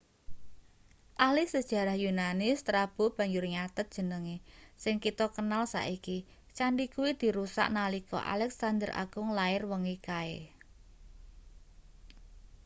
ahli sejarah yunani strabo banjur nyathet jenenge sing kita kenal saiki candhi kuwi dirusak nalika alexander agung lair wengi kae